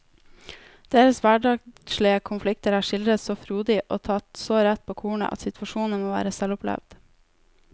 Deres hverdagslige konflikter er skildret så frodig og tatt så rett på kornet at situasjonene må være selvopplevd.